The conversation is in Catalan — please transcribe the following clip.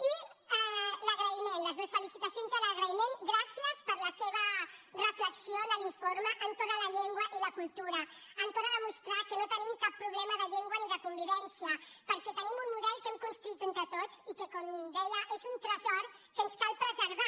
i l’agraïment les dues felicitacions i l’agraïment gràcies per la seva reflexió en l’informe entorn de la llengua i la cultura entorn de demostrar que no tenim cap problema de llengua ni de convivència perquè tenim un model que hem construït entre tots i que com deia és un tresor que ens cal preservar